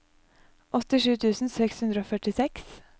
åttisju tusen seks hundre og førtiseks